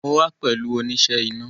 Mo wa pẹ̀lú oníṣẹ́ iná